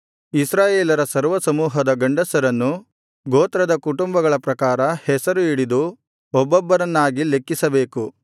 ಇಸ್ರಾಯೇಲರ ಸರ್ವಸಮೂಹದ ಗಂಡಸರನ್ನು ಗೋತ್ರದ ಕುಟುಂಬಗಳ ಪ್ರಕಾರ ಹೆಸರು ಹಿಡಿದು ಒಬ್ಬೊಬ್ಬರನ್ನಾಗಿ ಲೆಕ್ಕಿಸಬೇಕು